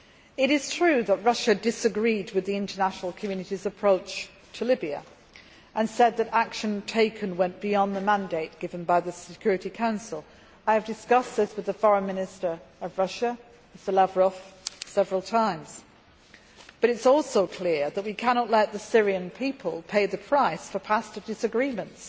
It is true that Russia disagreed with the international community's approach to Libya and said that the action taken went beyond the mandate given by the Security Council I have discussed this with the Foreign Minister of Russia, Mr Lavrov, several times but it is also clear that we cannot let the Syrian people pay the price for past disagreements.